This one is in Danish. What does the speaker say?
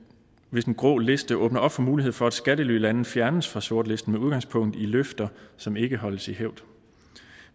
hvis en grå liste åbner op for mulighed for at skattelylande fjernes fra sortlisten med udgangspunkt i løfter som ikke holdes i hævd